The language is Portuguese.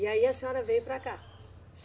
E aí a senhora veio para cá?